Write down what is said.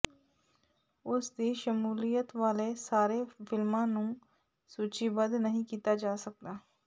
ਉਸ ਦੀ ਸ਼ਮੂਲੀਅਤ ਵਾਲੇ ਸਾਰੇ ਫਿਲਮਾਂ ਨੂੰ ਸੂਚੀਬੱਧ ਨਹੀਂ ਕੀਤਾ ਜਾ ਸਕਦਾ